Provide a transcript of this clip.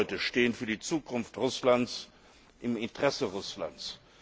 Diese Leute stehen für die Zukunft Russlands im Interesse Russlands.